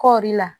Kɔɔri la